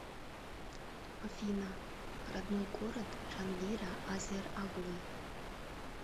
афина родной город джангира азер оглы